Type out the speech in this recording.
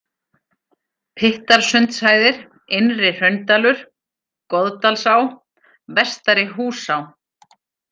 Pyttarsundshæðir, Innri-Hraundalur, Goðdalsá, Vestari-Húsá